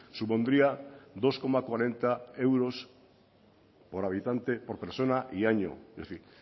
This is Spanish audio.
supondría dos coma cuarenta euros por habitante por persona y año es decir